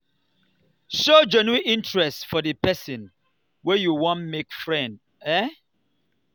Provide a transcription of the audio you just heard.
show genuine interest for di person wey you wan make friend um